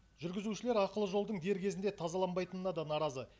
жүргізушілер ақылы жолдың дер кезінде тазаланбайтынына да наразы